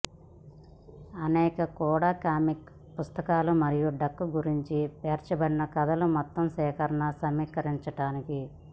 అనేక కూడా కామిక్ పుస్తకాలు మరియు డక్ గురించి పేర్చబడిన కథలు మొత్తం సేకరణ సమీకరించటానికి